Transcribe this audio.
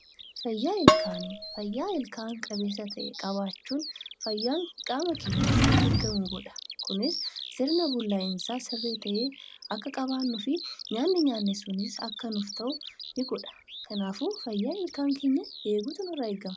Fayyaa ilkaanii: Fayyaa ilkaan qabeessa ta'e qabaachuun fayyaan qaama keenyaas akka eegamu godha. Kunis sirna bullaa'iinsaa sirrii ta'ee akka qabaaannuu fi nyaanni nyaanne sunis akka nuuf ta'u ni godha. Kanaafuu fayyaa ilkaan keenyaa eeguutu nurraa eegama.